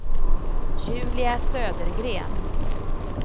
Julia Södergren